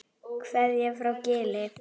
Kveðja frá Gili.